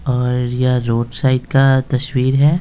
और यह road side का तश्वीर है।